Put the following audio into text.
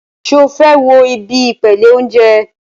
Ṣé o fẹ́ wo ibi ìpele óúnjẹ?